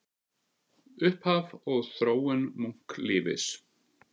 Upphaf og þróun munklífis